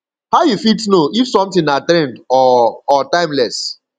how you fit know if something na trend or or timeless